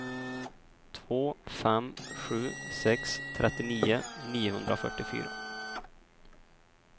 två fem sju sex trettionio niohundrafyrtiofyra